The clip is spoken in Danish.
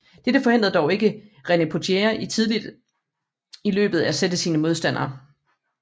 Dette forhindrede dog ikke René Pottier i tidligt i løbet at sætte sine modstandere